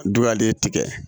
Du y'ale tigɛ